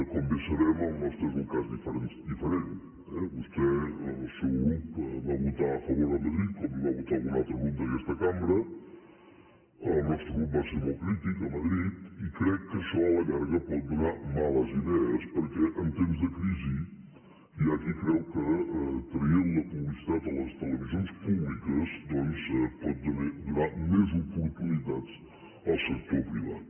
com bé sabem el nostre és un cas diferent eh vostè el seu grup hi va votar a favor a madrid com hi va votar algun altre grup d’aquesta cambra el nostre grup va ser molt crític a madrid i crec que això a la llarga pot donar males idees perquè en temps de crisi hi ha qui creu que traient la publicitat a les televisions públiques doncs pot donar més oportunitats al sector privat